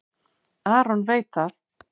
Aron veit það.